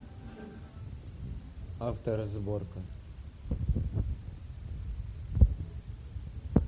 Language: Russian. авторазборка